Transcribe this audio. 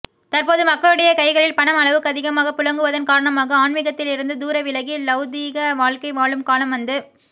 தற்போது மக்களுடைய கைகளில் பணம் அளவுக்கதிகமாக புழங்குவதன் காரணமாக ஆன்மீகத்திலிருந்து தூர விலகி லௌகீக வாழ்க்கை வாழும் காலம் வந்து